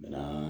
Bɛnna